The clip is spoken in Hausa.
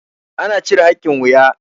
ana cire hakin wuya